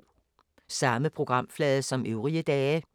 Samme programflade som øvrige dage